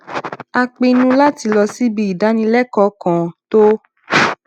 a pinnu láti lọ síbi ìdánilékòó kan tó